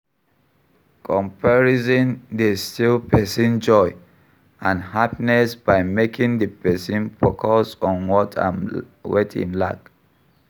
Comparison dey steal pesin joy and happiness by making di pesin focus on what im lack.